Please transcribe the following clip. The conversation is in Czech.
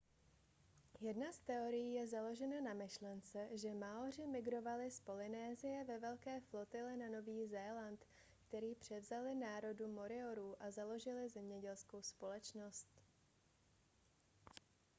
jedna z teorií je založena na myšlence že maoři migrovali z polynésie ve velké flotile na nový zéland který převzali národu moriorů a založili zemědělskou společnost